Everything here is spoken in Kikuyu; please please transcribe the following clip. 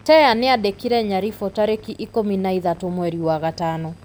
Teya nĩandĩkĩire Nyaribo tarĩki ikũmi na ithatũ mweri wa gatano.